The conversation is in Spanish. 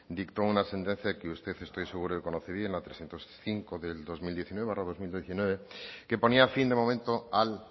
dictó una sentencia que usted estoy seguro que conoce bien la trescientos cinco barra dos mil diecinueve que ponía fin de momento al